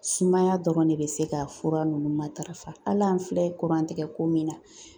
Sumaya dɔrɔn de bɛ se ka fura nunnu matarafa hali an filɛ kuran tigɛ ko min na